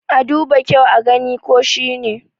a duba kyau a gani ko shi ne!